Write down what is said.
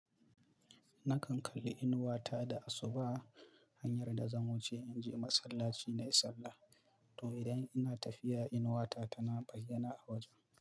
Nakan kalli inuwa ta da asuba hanyar da zan wuce in je masallaci na yi sallah. To idan ina tafiya, inuwa ta tana bayyana a wajen.